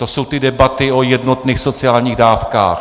To jsou ty debaty o jednotných sociálních dávkách.